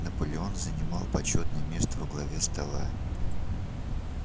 наполеон занимал почётное место во главе стола